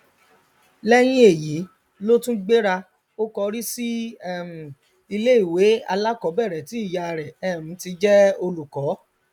lẹhìn èyí ló tún gbéra o kọrí sí um iléìwé alákọọbẹrẹ tí ìyá rẹ um ti jẹ olùkọ